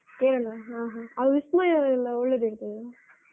Kerala , ಹ ಹ ಅಲ್ಲಿ ವಿಸ್ಮಯ ಎಲ್ಲ ಒಳ್ಳೆದಿರ್ತದಲ್ಲ.